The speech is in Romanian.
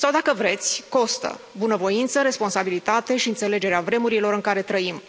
Sau, dacă vreți, costă bunăvoință, responsabilitate și înțelegerea vremurilor în care trăim.